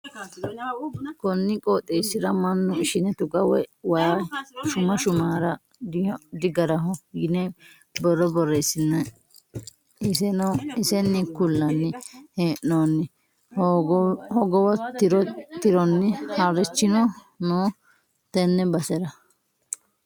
Koni qooxeesira mannu ishine tuga woyi waayi shuma sumara digaraho yine borro borreesine iseni ku'lanni hee'nooni hogowo tironi harichino no tene basera.